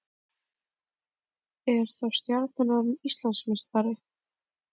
Er þá Stjarnan orðið Íslandsmeistari?